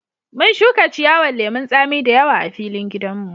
Mun shuka ciyawan lemun tsami da yawa a filin gidan mu.